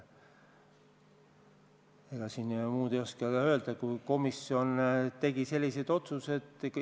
Ma siin muud ei oskagi öelda kui seda, et komisjon tegi sellised otsused.